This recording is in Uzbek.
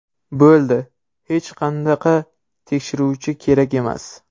Bo‘ldi, hech qanaqa tekshiruvchi kerak emas.